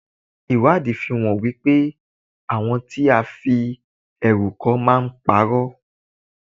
Ìwádìí fi hàn wípé àwọn tí a fi ẹ̀rù kọ́ máa ń pa'rọ́.